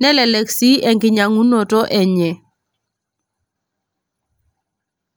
,nelelek sii enkinyiangunt enye.